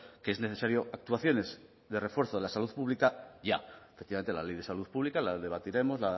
que es necesario actuaciones de refuerzo de la salud pública ya efectivamente la ley de salud pública la debatiremos